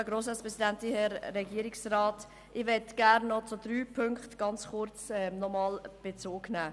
Gerne möchte ich noch ganz kurz auf drei Punkte Bezug nehmen.